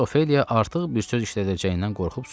Miss Ofeliya artıq bir söz işlədəcəyindən qorxub susdu.